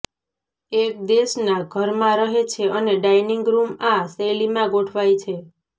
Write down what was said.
એક દેશના ઘરમાં રહે છે અને ડાઇનિંગ રૂમ આ શૈલીમાં ગોઠવાય છે